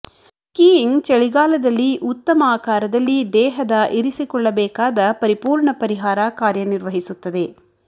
skiing ಚಳಿಗಾಲದಲ್ಲಿ ಉತ್ತಮ ಆಕಾರದಲ್ಲಿ ದೇಹದ ಇರಿಸಿಕೊಳ್ಳಬೇಕಾದ ಪರಿಪೂರ್ಣ ಪರಿಹಾರ ಕಾರ್ಯನಿರ್ವಹಿಸುತ್ತದೆ